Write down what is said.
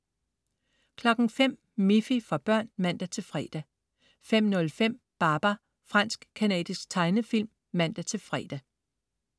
05.00 Miffy. For børn (man-fre) 05.05 Babar. Fransk-canadisk tegnefilm (man-fre)